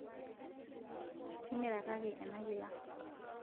timirakaki ena kila